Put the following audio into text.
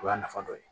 O y'a nafa dɔ ye